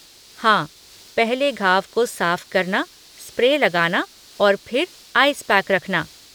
हाँ, पहले घाव को साफ़ करना, स्प्रे लगाना और फिर आइस पैक रखना।